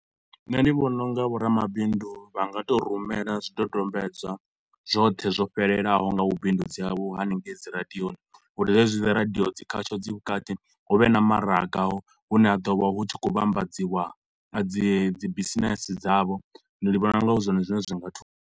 Nṋe ndi vhona u nga vho ramabindu vha nga tou rumela zwidodombedzwa zwoṱhe zwo fhelelaho nga vhu bindudzi havho haningei dzi radioni. Uri zwezwi dzi radio dzi khasho dzi vhukati hu vhe na maraga hune ha ḓo vha hu tshi khou vhambadziwa a dzi dzi bisinese dzavho. Ndi vhona u nga hu zwone zwine zwi nga thusa.